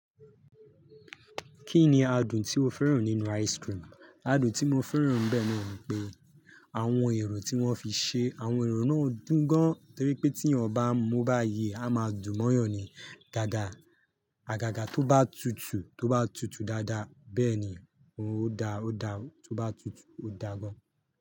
Kí ni adùn tí o fẹ́ràn nínú ice cream? Adùn tí mo fẹ́ràn bẹ́ẹ̀ ni wípé àwọn ẹ̀ro tí wọ́n fi ṣe, àwọn ẹ̀ràn náà dùn gan. Torí pé tí yan ba n mu bá yi, a máa dùn mọ́yàn ni. Gaga, àgàgà tó bá tutù tó bá tutù dáadáa, bẹ́ẹ̀ ni ó dára, ó dára tó bá tutù ó dára gan.